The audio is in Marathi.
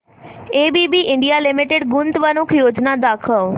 एबीबी इंडिया लिमिटेड गुंतवणूक योजना दाखव